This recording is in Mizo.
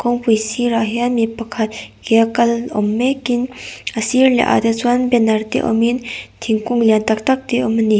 kawngpui sirah hian mipakhat ke a kal awm mêk in a sir leh ah te chuan banner te awm in thingkung lian tak tak te awm ani.